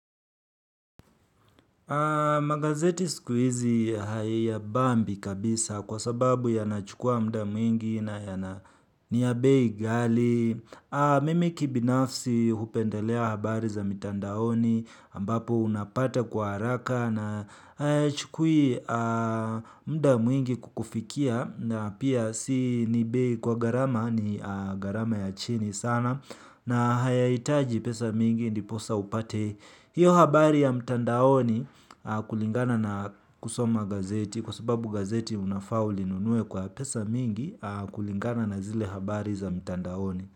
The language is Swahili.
Magazeti sikuhizi hayabambi kabisa kwa sababu yanachukua muda mwingi na ni ya bei ghali. Mimi kibinafsi hupendelea habari za mitandaoni ambapo unapata kwa haraka na chukui muda mwingi kukufikia na pia si ni bei kwa gharama ni gharama ya chini sana na hayahitaji pesa mingi ndiposa upate. Hiyo habari ya mtandaoni kulingana na kusoma gazeti kwa sababu gazeti unafaa ulinunue kwa pesa mingi kulingana na zile habari za mtandaoni.